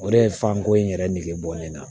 O de ye fanko in yɛrɛ nege bɔ ne la